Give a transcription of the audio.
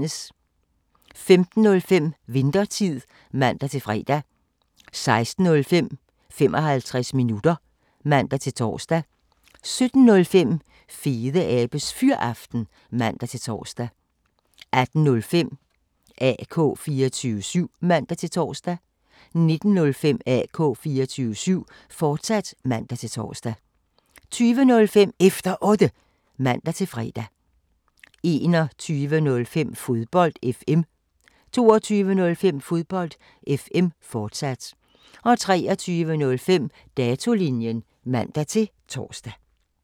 15:05: Winthertid (man-fre) 16:05: 55 minutter (man-tor) 17:05: Fedeabes Fyraften (man-tor) 18:05: AK 24syv (man-tor) 19:05: AK 24syv, fortsat (man-tor) 20:05: Efter Otte (man-fre) 21:05: Fodbold FM 22:05: Fodbold FM, fortsat 23:05: Datolinjen (man-tor)